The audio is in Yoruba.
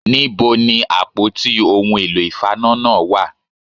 Níbo ni àpótí ohun èlò ìfaná náà wà